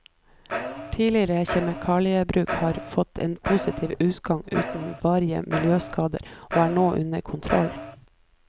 Tidligere kjemikaliebruk har fått en positiv utgang uten varige miljøskader og er nå under kontroll.